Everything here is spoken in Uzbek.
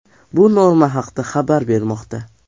Bu Norma haqda xabar bermoqda .